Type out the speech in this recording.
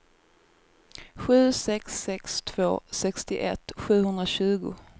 sju sex sex två sextioett sjuhundratjugo